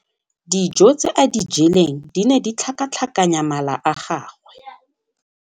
Dijô tse a di jeleng di ne di tlhakatlhakanya mala a gagwe.